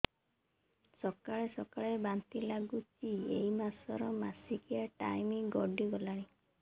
ସକାଳେ ସକାଳେ ବାନ୍ତି ଲାଗୁଚି ଏଇ ମାସ ର ମାସିକିଆ ଟାଇମ ଗଡ଼ି ଗଲାଣି